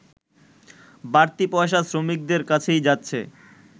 বাড়তি পয়সা শ্রমিকদের কাছেই যাচ্ছে